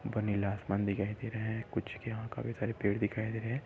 व नीला आसमान दिखाई दे रहा है कुछ क्या काफी सारे पेड़ दिखाई दे रहे है।